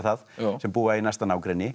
sem búa í næsta nágrenni